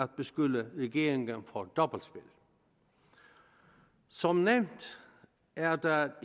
beskylde regeringen for dobbeltspil som nævnt er der